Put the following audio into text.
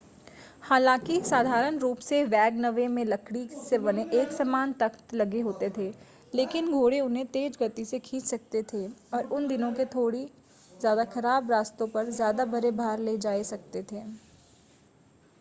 हालांकि साधारण रूप से वैगनवे में लकड़ी से बने एकसमान तख्त लगे होते थे लेकिन घोड़े उन्हें तेज़ गति से खींच सकते थे और उन दिनों के थोड़ी ज़्यादा ख़राब रास्तों पर ज़्यादा बड़े भार ले जाए जा सकते थे